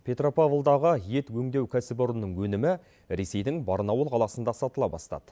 петропавлдағы ет өңдеу кәсіпорнының өнімі ресейдің барнауыл қаласында сатыла бастады